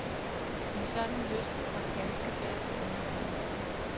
En sådan lyst kom ganske bag på undertegnede.